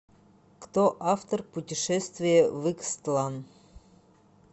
кто автор путешествие в икстлан